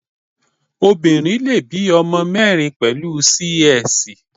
Obinrin le bí ọmọ mẹ́rin pẹ̀lú Sí-Ẹsì.